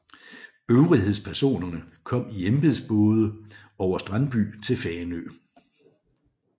Øvrighedspersonerne kom i embedsbåde over Strandby til Fanø